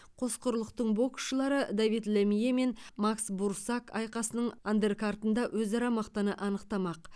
қос құрлықтың боксшылары давид лемье мен макс бурсак айқасының андеркартында өзара мықтыны анықтамақ